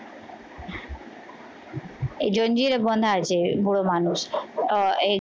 এই জঞ্জির বাঁধা আছে বুড়ো মানুষ আহ এ